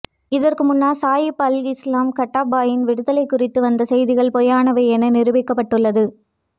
இதற்கு முன்னர் Saif al Islam கடாஃபியின் விடுதலை குறித்து வந்த செய்திகள் பொய்யானவை என நிருபிக்கப்பட்டுள்ளது